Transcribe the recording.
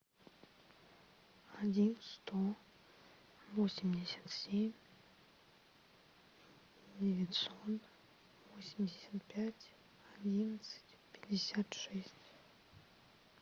один сто восемьдесят семь девятьсот восемьдесят пять одиннадцать пятьдесят шесть